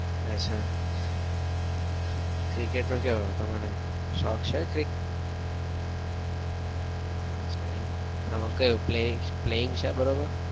cricket નો કેવો તમારો શોખ છે cricket નો અચ્છા એવું એમાં કેવું planning છે બરાબર?